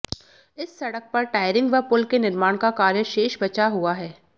इस सड़क पर टायरिंग व पुल के निर्माण का कार्य शेष बचा हुआ है